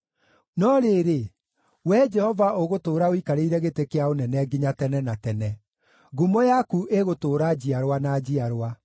No rĩrĩ, Wee Jehova ũgũtũũra ũikarĩire gĩtĩ kĩa ũnene nginya tene na tene; ngumo yaku ĩgũtũũra njiarwa na njiarwa.